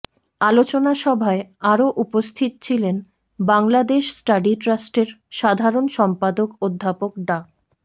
আলোচনা সভায় আরও উপস্থিত ছিলেন বাংলাদেশ স্টাডি ট্রাস্টের সাধারণ সম্পাদক অধ্যাপক ডা